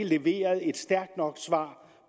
leveret et stærkt nok svar